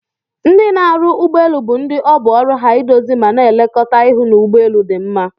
Ndi n'arụ ụgbọ elụ bu ndi ọbụ oru ha idozi mana elekọta ihụ n'ụgbọ elu di mma.